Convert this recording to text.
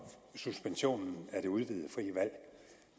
suspensionen af det udvidede frie valg